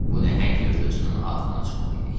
Bu nəhəng yırtıcının axırına çıxmalıydıq.